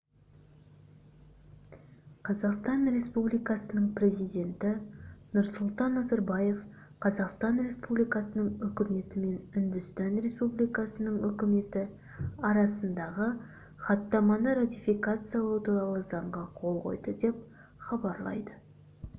қазақстан республикасының президенті нұрсұлтан назарбаев қазақстан республикасының үкіметі мен үндістан республикасының үкіметі арасындағы хаттаманы ратификациялау туралы заңға қол қойды деп хабарлайды